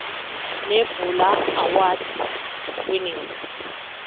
nebula award winning